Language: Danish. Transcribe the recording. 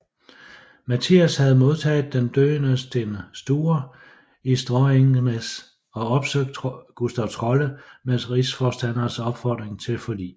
Mattias havde modtaget den døende Sten Sture i Stråangnäs og opsøgt Gustav Trolle med rigsforstanderens opfordring til forlig